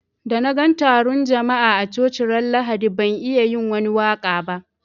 Da na gan tarun jama'a a coci ran Lahadi ban iya yin wani waka ba.